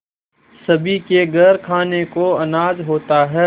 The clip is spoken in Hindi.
सभी के घर खाने को अनाज होता है